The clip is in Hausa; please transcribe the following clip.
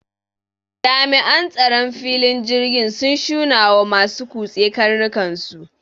jami'an tsaron filin jirgin sun shunawa masu kutse karnukansu